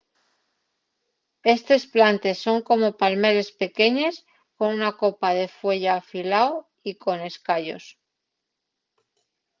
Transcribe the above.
estes plantes son como palmeres pequeñes con una copa de fueya afilao y con escayos